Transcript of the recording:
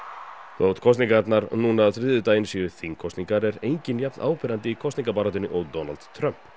þótt kosningarnar núna á þriðjudaginn séu þingkosningar er enginn jafnáberandi í kosningabaráttunni og Donald Trump